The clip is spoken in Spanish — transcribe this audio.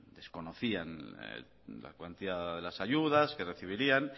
desconocían la cuantía de las ayudas que recibirían